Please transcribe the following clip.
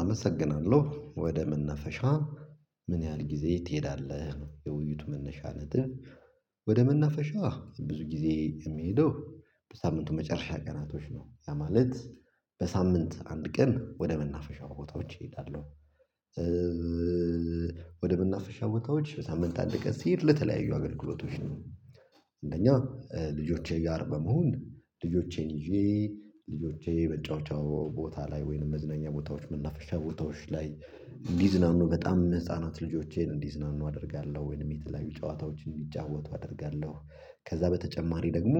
አመሰግናለሁ ወደ መነፈሻ ምን ያህል ጊዜ ትሄዳለህ? የውይይት መነሻ ነጥብ ወደ መናፈሻ ብዙ ጊዜ የሚሄደው በሳምንቱ መጨረሻ ቀናቶች ነው። ለማለት በሳምንት አንድ ቀን ወደ መናፈሻው ቦታዎች እሄዳለሁ። ወደ ብናፈሻው ወጣቶች በሳምንት አደገች ሲሄድ ለተለያዩ አገልግሎቶች ነው። እንደኛ ልጆቼ ጋር በመሆን ልጆቼን ይዤ ልጆቼ በጨዋታው ቦታ ላይ ወይንም መዝነኛ ቦታዎች መናፈሻ ቦታዎች ላይ እንዲዝናኑ በጣም ህፃናት ልጆቼን እንዲዝናኑ አደርጋለሁ ወይንም የተለያዩ ጨዋታዎችን የሚጫወቱ አደርጋለሁ። ከዛ በተጨማሪ ደግሞ